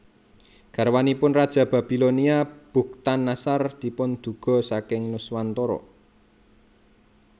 Garwanipun raja Babilonia Bukhtannasar dipunduga saking Nuswantara